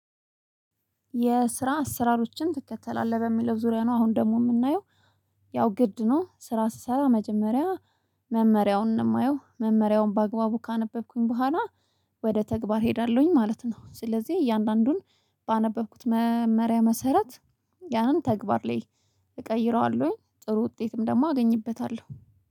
የስራ አስራሮችን ትከተላለህ በሚለው ዙሪያ ነው አሁን ደግሞ የምናየው ያው ግድ ነው። ስራ ስሰራ መጀመሪያ መመሪያውን ነው የማየው። መመሪያውን በአግባቡ ካነበብኩኝ በኋላ ወደ ተግባር እሄዳለሁኝ ማለት ነው። ስለዚህ እያንዳንዱን ባነበብኩት መመሪያ መሰረት ያን ተግባር ላይ እቀይረዋለሁኝ። ጥሩ ውጤትም ደግሞ አገኝበታለሁ።